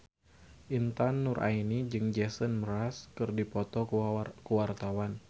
Intan Nuraini jeung Jason Mraz keur dipoto ku wartawan